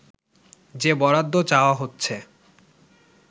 যে বরাদ্দ চাওয়া হচ্ছে